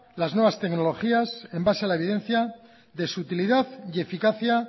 las nuevas tecnologías en base a la evidencia de su utilidad y eficacia